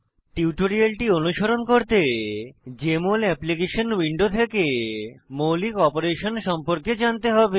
টিউটোরিয়ালটি অনুসরণ করতে জেএমএল অ্যাপ্লিকেশন উইন্ডো থেকে মৌলিক অপারেশন সম্পর্কে জানতে হবে